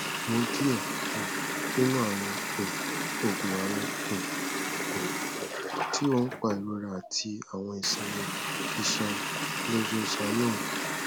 mu diẹ um ninu awọn um oogun awọn um oogun um ti oun pa irora ati awọn isinmi iṣan chlorzoxanone